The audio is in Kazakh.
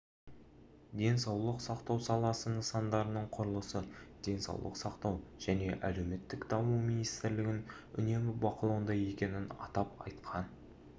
денсаулық сақтау саласы нысандарының құрылысы денсаулық сақтау және әлеуметтік даму министрлігінің үнемі бақылауында екенін атап айтқан